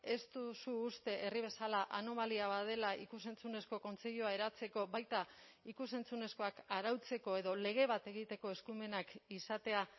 ez duzu uste herri bezala anomalia bat dela ikus entzunezko kontseilua eratzeko baita ikus entzunezkoak arautzeko edo lege bat egiteko eskumenak izatea